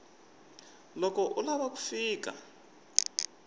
loko u lava ku fika